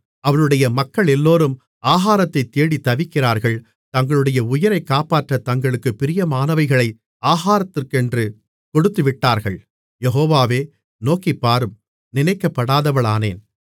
அவளுடைய மக்களெல்லோரும் ஆகாரத்தைத்தேடித் தவிக்கிறார்கள் தங்களுடைய உயிரைக் காப்பாற்றத் தங்களுக்குப் பிரியமானவைகளை ஆகாரத்துக்கென்று கொடுத்துவிட்டார்கள் யெகோவாவே நோக்கிப்பாரும் நினைக்கப்படாதவளானேன்